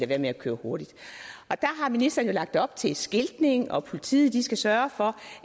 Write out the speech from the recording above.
være med at køre hurtigt der har ministeren jo lagt op til skiltning og politiet skal sørge for